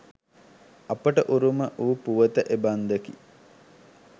අපට උරුම වූ පුවත එබන්දකි.